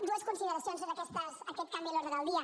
dues consideracions sobre aquest canvi en l’ordre del dia